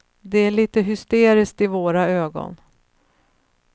Det är lite hysteriskt i våra ögon.